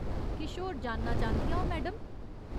किश होर जानना चांह्दियां ओ, मैडम ?